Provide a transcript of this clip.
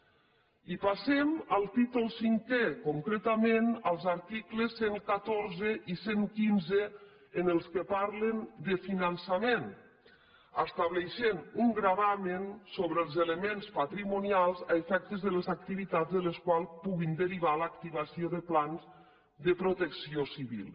i passem al títol cinquè concretament als articles cent i catorze i cent i quinze en què parlen de finançament i estableixen un gravamen sobre els elements patrimonials a efectes de les activitats de les quals pugui derivar l’activació de plans de protecció civil